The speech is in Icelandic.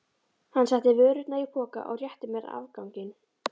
Hann setti vörurnar í poka og rétti mér afganginn.